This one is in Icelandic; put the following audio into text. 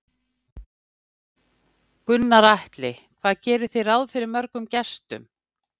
Gunnar Atli: Hvað gerið þið ráð fyrir mörgum gestum?